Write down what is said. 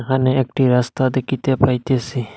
এখানে একটি রাস্তা দেখিতে পাইতেসি।